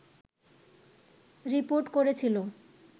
report করেছিল